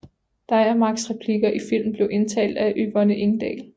Degermarks replikker i filmen blev indtalt af Yvonne Ingdahl